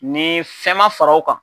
Ni fɛn ma fara o kan